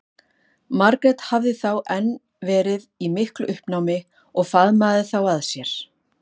Margrét hafði þá enn verið í miklu uppnámi og faðmað þá að sér.